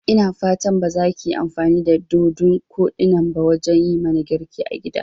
Ina fatan bazakiyi amfani da dodun koɗinnan ba wajan yimana girki a gida?